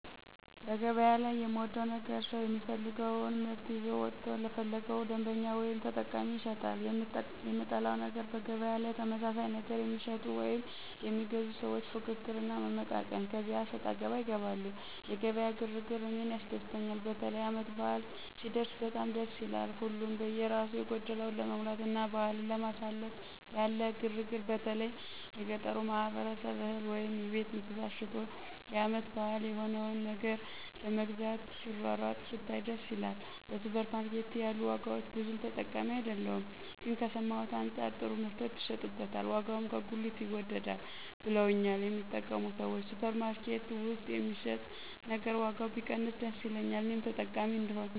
በገበያ ላይ የምወደው ነገር ሰው የፈለገወን ምርት ይዞ ወጥቶ ለፈለገው ደንበኛ ወይም ተጠቃሚ ይሸጣል። የምጠላው ነገር በገበያ ላይ ተመሳሳይ ነገር የሚሸጡ ወይም የሚገዙ ሰዎች ፍክክር እና መመቃቀን ከዚያ አሰጣገባ ይገባሉ። የገበያ ግር ግር እኔን ያስደስተኛል። በተለይ ዓመት በዓል ሲደረስ በጣም ደስ ይላል። ሀሉም በየራሱ የጎደለውን ለመሙላትና በዓልን ለማሳለፍ ያለ ግር ግር በተለይ የገጠሩ ማህበረሰብ እህል ወይም የቤት እንስሳት ሸጦ የዓመት በዓል የሚሆነውን ነገር ለመግዛት ሲሯሯጥ ስታይ ደስ ይላል። በሱፐር ማርኬት ያሉ ዋጋዎች ብዙም ተጠቃሚ አይደለሁም ግን ከሰማሁት አንጻር ጥሩ ምርቶች ይሸጡበታል ዋጋውም ከጉሊት ይወደዳል ብለውኛል የሚጠቀሙ ሰዎች። ሱፐር ማርኬት ውስጥ የሚሸጥ ነገር ዋጋው ቢቀንስ ደስ ይለኛል እኔም ተጠቃሚ እሆናለሁ።